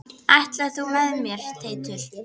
Ætlar þú með mér Teitur!